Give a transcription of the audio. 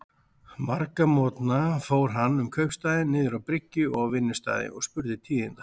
Marga morgna fór hann um kaupstaðinn, niður á bryggju og á vinnustaði, og spurði tíðinda.